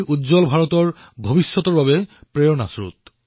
এয়াই উজ্বল ভাৰতৰ ভৱিষ্যতৰ বাবে প্ৰেৰণাৰ কাৰক হৈ পৰিব